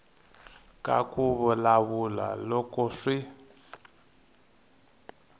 ka ku vulavula loko swi